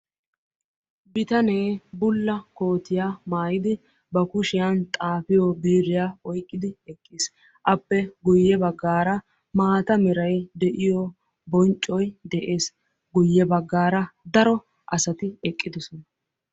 BItane bulla kootiya maayiddi xaafiyo biiriya oyqqiddi eqqiis. Appe guye bagan cora asay eqqiis.